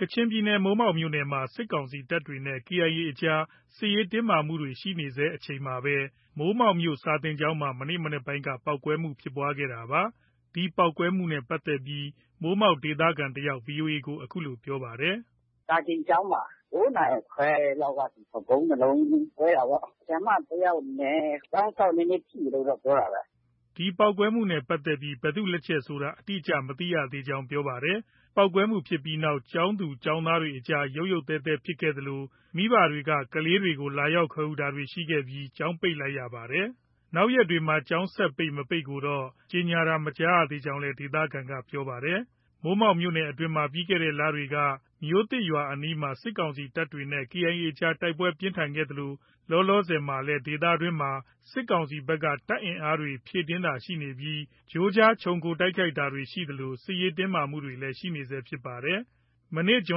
ကချင်ပြည်နယ် မိုးမောက်မြို့နယ်အတွင်းမှာ စစ်ကောင်စီတပ်တွေနဲ့ KIA အကြား စစ်ရေးတင်းမာမှုတွေ ရှိနေဆဲ အချိန်မှာပဲ မိုးမောက်မြို့ စာသင်ကျောင်းမှာ မနေ့ မနက်ပိုင်းက ပေါက်ကွဲမှုဖြစ်ပွားခဲ့တာပါ။ ဒီပေါက်ကွဲမှုနဲ့ပတ်သက်ပြီး မိုးမောက်ဒေသခံတစ်ယောက် VOA ကို အခုလို ပြောပါတယ်။ “စာသင်ကျောင်းမှာ ဗုံး ၂လုံး ကွဲတာပေါ့။ ဆရာမ တစ်ယောက်နဲ့ ကျောင်းစောင့် နည်းနည်း ထိတယ်လို့ တော့ ပြောတာပဲ။” ဒီပေါက်ကွဲမှုနဲ့ ပတ်သက်ပြီး ဘယ်သူလက်ချက်ဖြစ်တယ်ဆိုတာ အတိအကျ မသိသေးကြောင်း ပြောပါတယ်။ ပေါက်ကွဲမှုဖြစ်ပြီးနောက် ကျောင်းသူ၊ ကျောင်းသားတွေအကြားမှာ ရုတ်ရုတ်သဲသဲဖြစ်ခဲ့သလို မိဘတွေက ကလေးတွေကို လာရောက်ခေါ်ယူတာတွေရှိခဲ့ပြီး ကျောင်းပိတ်လိုက်ရပါတယ်။ နောက်ရက်တွေ ကျောင်းဆက်ပိတ်၊ မပိတ်ကိုတော့ ကြေညာတာမကြားသေးကြောင်းလည်း ဒေသခံက ပြောပါတယ်။ မိုးမောက်မြို့နယ်အတွင်းမှာ ပြီးခဲ့တဲ့ လတွေက မြို့သစ်ရွာအနီးမှာ စစ်ကောင်စီတပ်တွေနဲ့ KIA အကြား တိုက်ပွဲပြင်းထန်ခဲ့သလို လောလောဆယ်မှာလည်း ဒေသတွင်းမှာ စစ်ကောင်စီဘက်က တပ်အင်အားတွေ ဖြည့်တင်းတာရှိနေပြီး ကြိုးကြား ခြုံခိုတိုက်ခိုက်တာတွေ ရှိသလို စစ်ရေးတင်းမာမှုတွေ ရှိနေဆဲဖြစ်ပါတယ်။ မနေ့ ဇွန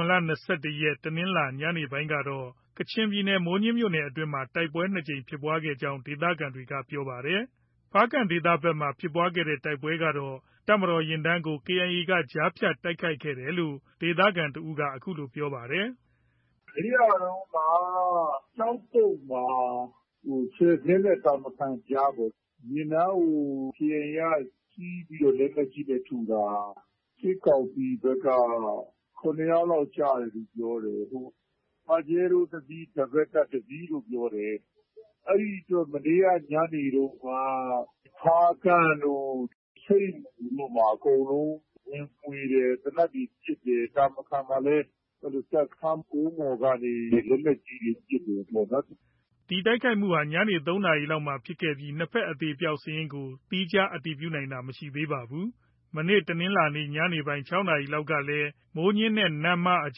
် ၂၁ ရက် တနင်္လာ ညနေပိုင်းကတော့ ကချင်ပြည်နယ် မိုးညှင်းခရိုင်အတွင်းမှာ တိုက်ပွဲ ၂ ကြိမ်ဖြစ်ခဲ့ကြောင်း ဒေသခံတွေက ပြောပါတယ်။ ဖားကန့်ဒေသဘက်မှာ ဖြစ်တဲ့ တိုက်ပွဲကတော့ တပ်မတော်ယာဉ်တန်းကို KIA က ကြားဖြတ်တိုက်ခိုက်ခဲ့တယ်လို့ ဒေသခံ တစ်ဦးက အခုလို ပြောပါတယ်။ “ မနေ့ကတုံးက ကျောက်ပုတ်မှာ၊ ဆယ်ဇဉ်းနဲ့ တာမခန်ကြားပေါ့။ ယာဉ်တန်းကို KIA က ဆီးပြီးတော့ လက်နက်ကြီးနဲ့ ထုတာ။ စစ်ကောင်စီဘက်က ၇ ယောက်လောက် ကျတယ်လို့ ပြောတယ်။ ပါဂျဲရိုးတစ်စီး၊ ဒဘယ်လ်ကပ် တစ်စီးလို့ ပြောတယ်။ အဲဒီအတွက် မနေ့က ညနေတုံးက ဖားကန့်တို့၊ ဆိတ်မူတို့မှာ အကုန်လုံး ဝင်မွှေတယ်။ သေနတ်တွေ ပစ်တယ်။ တာမခန်မှာလည်း တပ်စခန်းကုန်းပေါ်ကနေ လက်နက်ကြီးတွေ ပစ်တယ်ပေါ့နော်။” ဒီတိုက်ခိုက်မှုဟာ ညနေ ၃နာရီလောက်မှာဖြစ်ခဲ့ပြီး နှစ်ဘက် အသေအပျောက်စာရင်းကို သီးခြား အတည်ပြုနိုင်တာ မရှိသေးပါဘူး။ မနေ့တနင်္လာနေ့ ညနေပိုင်း ၆ နာရီလောက်ကလည်း မိုးညှင်းနဲ့ နမ့်မားအ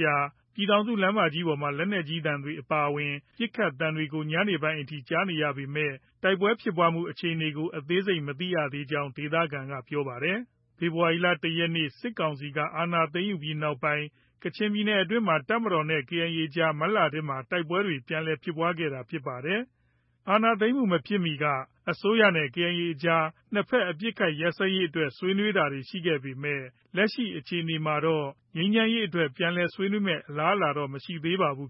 ကြား ပြည်ထောင်စုလမ်းပေါ်မှာ လက်နက်ကြီးသံတွေအပါအဝင် ပစ်ခတ်သံတွေကို ညပိုင်းအထိ ကြားနေရပေမဲ့ တိုက်ပွဲဖြစ်ပွားမှု အခြေအနေကို အသေးစိတ် မသိကြောင်း ဒေသခံတွေက ပြောပါတယ်။ ဖေဖော်ဝါရီလ ၁ ရက်နေ့ စစ်ကောင်စီက အာဏာသိမ်းယူပြီးနောက်ပိုင်း ကချင်ပြည်နယ်အတွင်းမှာ တပ်မတော်နဲ့ KIA အကြား မတ်လထဲက တိုက်ပွဲတွေ ပြန်လည်ဖြစ်ပွားခဲ့တာဖြစ်ပါတယ်။ အာဏာသိမ်းမှုမဖြစ်မီက အစိုးရနဲ့ KIA အကြား နှစ်ဘက် အပစ်အခတ် ရပ်စဲရေးအတွက် ဆွေးနွေးတာတွေ ရှိခဲ့ပေမဲ့ လက်ရှိအခြေအနေမှာတော့ ငြိမ်းချမ်းရေးအတွက် ပြန်လည် ဆွေးနွေးမယ့် အလားအလာတော့ မရှိသေးပါဘူး